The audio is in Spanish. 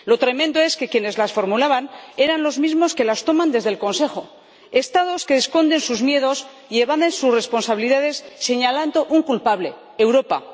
Lo tremendo es que quienes las formulaban eran los mismos que las toman desde el Consejo, Estados que esconden sus miedos y evaden sus responsabilidades señalando un culpable Europa.